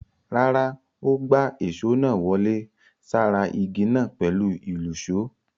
Rárá, ó gbá èṣó náà wọlé sára ìgi náà pẹ̀lú ìlùṣó.